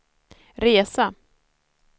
resa